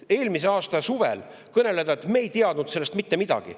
Eelmise aasta suvel oli jultumust kõneleda, et nad ei teadnud sellest mitte midagi.